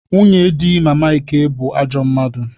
Nwunye di Mama Ike bụ ajọ mmadụ.